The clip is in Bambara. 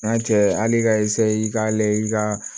N'a cɛ hali ka i ka layɛ i ka